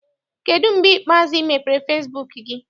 Kedụ mgbe ikpeazụ ị mepere fesibuuku gị?